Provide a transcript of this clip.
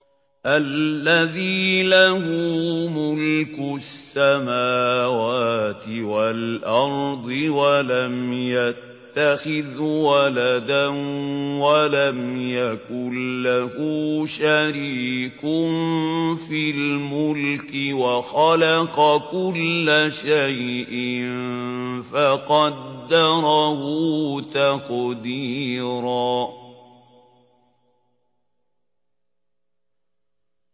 الَّذِي لَهُ مُلْكُ السَّمَاوَاتِ وَالْأَرْضِ وَلَمْ يَتَّخِذْ وَلَدًا وَلَمْ يَكُن لَّهُ شَرِيكٌ فِي الْمُلْكِ وَخَلَقَ كُلَّ شَيْءٍ فَقَدَّرَهُ تَقْدِيرًا